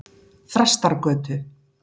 Þrastargötu